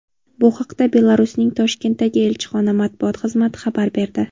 Bu haqda Belarusning Toshkentdagi elchixona matbuot xizmati xabar berdi .